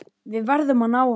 Við verðum að ná honum.